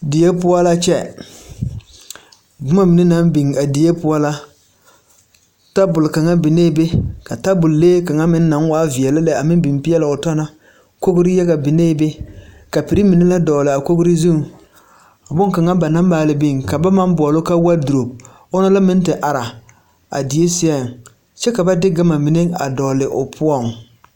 Die poɔ la kyɛ boma mine naŋ biŋ a die poɔ la tabol kaŋa biŋ la be tabol lee kaŋa naŋ veɛlɛ meŋ biŋ la be kogri yaga biŋ la be kapiri mine la dɔgli a kogri zuŋ boŋkaŋa ba na maali biŋ ka ba maŋ boɔli ka waduro meŋ te are la a die seɛŋ kyɛ ka ba de gama mine dɔgli o poɔŋ.